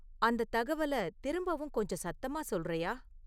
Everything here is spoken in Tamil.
அந்த தகவலை திரும்பவும் கொஞ்சம் சத்தமாக சொல்றயா?